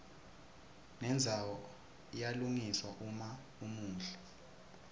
nendzawo iyalungiswa uma umuhle